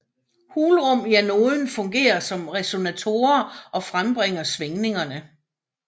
Hulrum i anoden fungerer som resonatorer og frembringer svingningerne